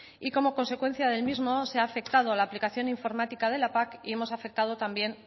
y como consecuencia del mismo se ha afectado a la aplicación informática de la pac y hemos afectado también